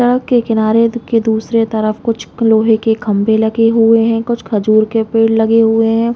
सड़क के किनारे के दूसरे तरफ कुछ लोहै के खम्बे लगे हुए है कुछ खुजर के पेड़ लगे हुए है।